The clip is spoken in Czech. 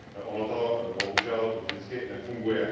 Ono to bohužel vždycky nefunguje.